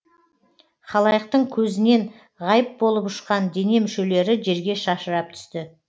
халайықтың көзінен ғайып болып ұшқан дене мүшелері жерге шашырап түсті